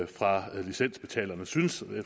fra licensbetalerne synes